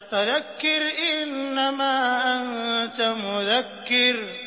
فَذَكِّرْ إِنَّمَا أَنتَ مُذَكِّرٌ